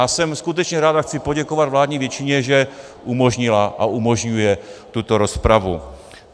A jsem skutečně rád a chci poděkovat vládní většině, že umožnila a umožňuje tuto rozpravu.